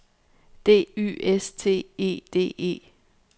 D Y S T E D E